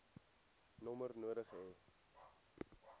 nommer nodig hê